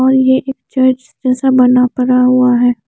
और ये एक चर्च जैसा बना पड़ा हुआ है।